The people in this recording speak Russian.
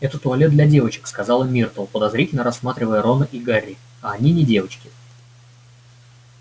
это туалет для девочек сказала миртл подозрительно рассматривая рона и гарри а они не девочки